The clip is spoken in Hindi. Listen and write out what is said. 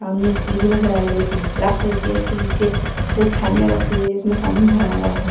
सामने एक सीडी नजर आ रही है जो ब्लैक कलर की है उसके नीचे दो थालियां रखी हुई है जिसमें सामने किया हुआ है।